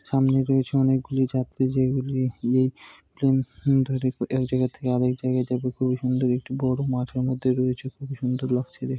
সামনে রয়েছে অনেকগুলো যাত্রী যেগুলি প্লেন ধরে এক জায়গা থেকে আরেক জায়গায় যাবে। খুবই সুন্দর একটি বড়ো মাঠের মধ্যে রয়েছে। খুবই সুন্দর লাগছে।